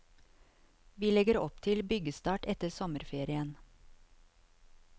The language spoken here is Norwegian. Vi legger opp til byggestart etter sommerferien.